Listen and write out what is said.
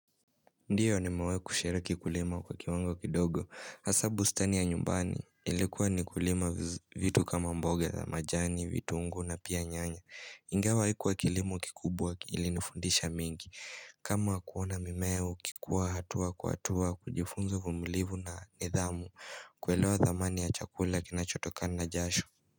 Ndiyo nimewai kushiriki kulima kwa kiwango kidogo Hasa bustani ya nyumbani ilikuwa ni kulima vitu kama mboga za majani, vitu ungu na pia nyanya Ingawa aikuwa kilimo kikubwa kili nifundisha mengi kama kuona mimea, ikikuwa hatua kuatua, kujifunza uvumilivu na nidhamu Kuele wa thamani ya chakula kinachotoka na jasho.